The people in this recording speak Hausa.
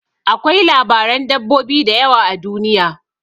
Akwai labaran dabbobi da yawa a duniya.